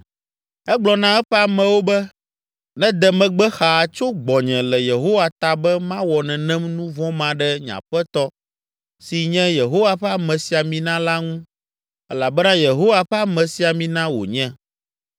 Egblɔ na eƒe amewo be, “Nede megbe xaa tso gbɔnye le Yehowa ta be mawɔ nenem nu vɔ̃ ma ɖe nye aƒetɔ si nye Yehowa ƒe amesiamina la ŋu, elabena Yehowa ƒe amesiamina wònye.”